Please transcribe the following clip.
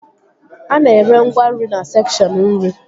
A na-ere ngwa nri na sekshọn nri